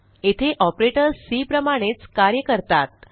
येथे operators C प्रमाणेच कार्य करतात